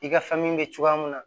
I ka fɛn min bɛ cogoya mun na